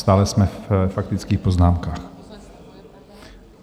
Stále jsme ve faktických poznámkách.